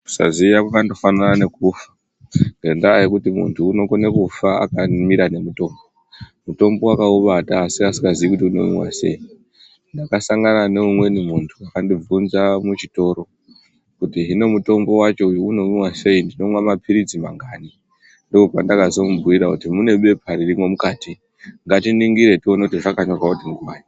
Kusaziya kwakangofanana ngekufa ngendaa yekuti muntu unokone kufa akamira nemutombo, mutombo akaubata asi asingaziyi kuti inomwiwa sei, ndakasangana neumweni munhu akandibvunza muchitoro kuti hino mutombo wacho unomwiwa sei tinomwa mapiritsi mangani, ndopandakazomubhuira kuti mune bepa ririmwo mukati, ngatiningire tione kuti zvakanyorwa kuti mangani.